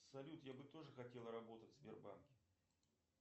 салют я бы тоже хотел работать в сбербанке